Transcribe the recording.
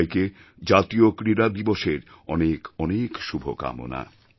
সবাইকে জাতীয় ক্রীড়া দিবসএর অনেক অনেক শুভকামনা